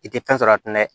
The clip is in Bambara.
I tɛ fɛn sɔrɔ a tɛ dɛ